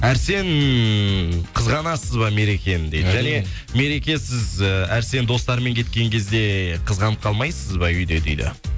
арсен қызғанасыз ба мерекені дейді және мереке сіз і арсен достарыммен кеткен кезде қызғанып қалмайсыз ба үйде дейді